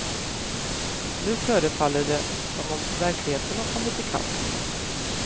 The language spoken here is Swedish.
Nu förefaller det som om verkligheten har kommit i kapp.